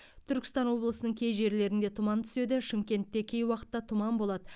түркістан облысының кей жерлеріне тұман түседі шымкентте кей уақытта тұман болады